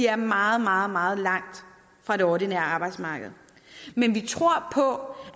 er meget meget meget langt fra det ordinære arbejdsmarked men vi tror på